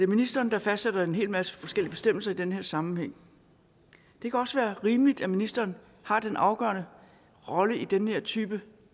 ministeren der fastsætter en hel masse forskellige bestemmelser i den her sammenhæng det kan også være rimeligt at ministeren har den afgørende rolle i den her type